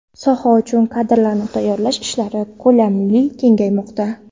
Soha uchun kadrlar tayyorlash ishlari ko‘lami kengaymoqda.